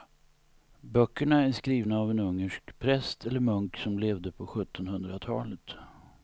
Böckerna är skrivna av en ungersk präst eller munk som levde på sjuttonhundratalet.